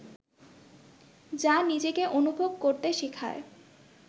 যা নিজেকে অনুভব করতে শেখায়